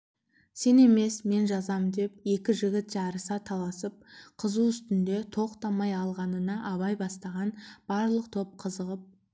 сен емес мен жазам деп екі жігіт жарыса таласып қызу үстінде тоқтай алмағанына абай бастаған барлық топ қызығып